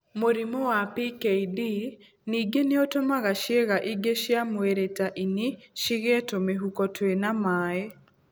Mũrimũ wa PKD ningĩ nĩ ũtũmaga ciĩga ingĩ cia mwĩrĩ ta ini cigĩe tũmĩhuko twĩna maĩ.